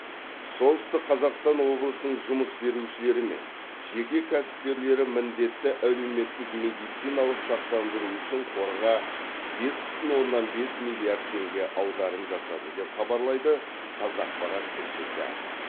солтүстік қазақстан облысының жұмыс берушілері мен жеке кәсіпкерлері міндетті әлеуметтік медициналық сақтандыру үшін қорға бес бүтін оннан бес миллиард теңге аударым жасады деп хабарлайды қазақпарат тілшісі